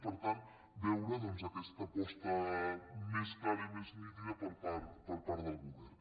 i per tant veure doncs aquesta aposta més clara i més nítida per part del govern